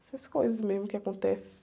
Essas coisas mesmo que acontecem.